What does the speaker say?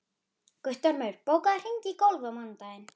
Agneta, hækkaðu í hátalaranum.